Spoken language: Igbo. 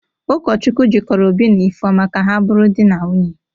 Ụkọchukwu jịkọrọ Obi na Ifeọma ka ha bụrụ di na nwunye.